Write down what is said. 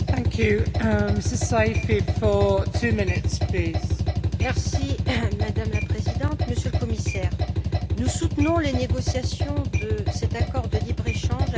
Madame la Présidente, Monsieur le Commissaire, nous soutenons les négociations de cet accord de libre échange avec l'Inde, qui doit être ambitieux mais qui pose néanmoins encore quelques questions.